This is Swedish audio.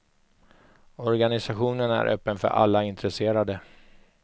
Organisationen är öppen för alla intresserade.